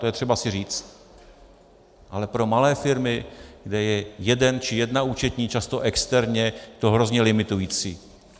To je třeba si říct, ale pro malé firmy, kde je jeden či jedna účetní, často externě, to je hrozně limitující.